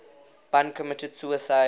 bun committed suicide